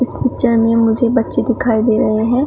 इस पिक्चर में मुझे बच्चे दिखाई दे रहे हैं।